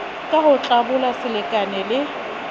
ka ho tlabola selekane le